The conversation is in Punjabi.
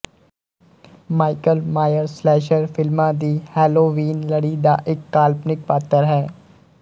ਮਾਈਕਲ ਮਾਇਅਰ ਸਲੈਸ਼ਰ ਫਿਲਮਾਂ ਦੀ ਹੇਲੋਵੀਨ ਲੜੀ ਦਾ ਇੱਕ ਕਾਲਪਨਿਕ ਪਾਤਰ ਹੈ